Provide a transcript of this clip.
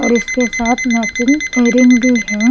और इसके साथ मैचिंग के रंगभी है।